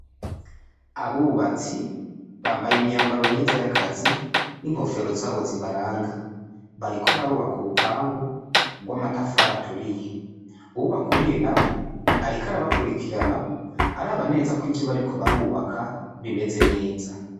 Abubatsi bambaye imyambaro myiza y'akazi n'inkofero zabo zibaranga, bariko barubaka urupangu rw'amatafari aturiye, uwubakuriye nawe ariko arabakurikirana araba neza ko ivyo bariko barubaka bimeze neza.